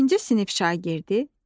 İkinci sinif şagirdi,